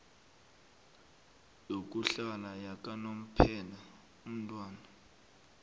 yokuhlala yakanomphela umntwana